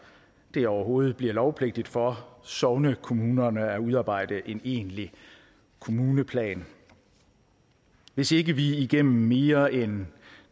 det overhovedet bliver lovpligtigt for sognekommunerne at udarbejde en egentlig kommuneplan hvis ikke vi igennem mere end